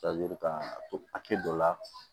kan ka to a kɛ dɔ la